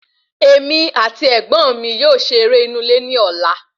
Èmi àti ẹ̀gbọ́n mí yóò se eré inú ilé ní ọ̀la